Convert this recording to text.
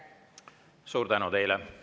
Suur tänu teile!